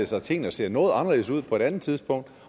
sig at tingene så noget anderledes ud på et andet tidspunkt